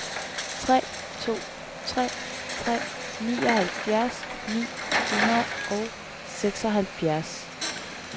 tre to tre tre nioghalvfjerds ni hundrede og seksoghalvfjerds